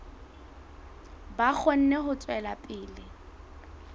ba kgone ho tswela pele